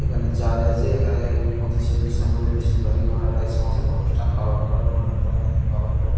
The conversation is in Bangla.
এখানে চার্চ আছে এখানে এ পঁচিশে ডিসেম্বর -এ বেশিরভাগই ওনারা এই সমস্ত অনুষ্ঠান করেন ওনার জন্মদিন পালন করেন ।